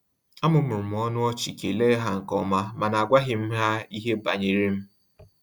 A mụmụrụm ọnụ ọchị kele ha nkeọma, mana agwaghí m ha ihe banyere m